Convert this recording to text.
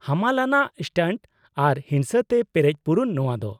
ᱦᱟᱢᱟᱞ ᱟᱱᱟᱜ ᱥᱴᱟᱱᱴ ᱟᱨ ᱦᱤᱝᱥᱟᱹ ᱛᱮ ᱯᱮᱨᱮᱡ ᱯᱩᱨᱩᱱ ᱱᱚᱶᱟ ᱫᱚ ᱾